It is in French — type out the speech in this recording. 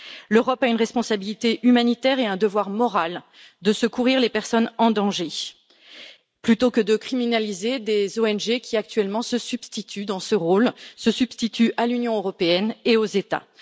L'Europe a une responsabilité humanitaire et un devoir moral de secourir les personnes en danger, plutôt que de criminaliser des ONG qui, actuellement, se substituent dans ce rôle à l'Union européenne et aux États.